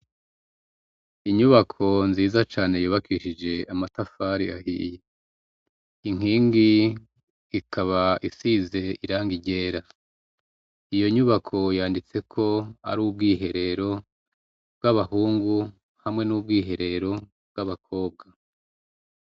Inyubako nziza cane yubakishije amatafari ahiye, inkingi ikaba isize irangi ryera, iyo nyubako yanditseko ko ari ubwiherero bw'abahungu, hamwe y'ubwiherero bw'abakobwa.